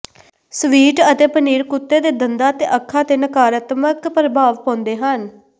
sweet ਅਤੇ ਪਨੀਰ ਕੁੱਤੇ ਦੇ ਦੰਦਾਂ ਅਤੇ ਅੱਖਾਂ ਤੇ ਨਕਾਰਾਤਮਕ ਪ੍ਰਭਾਵ ਪਾਉਂਦੇ ਹਨ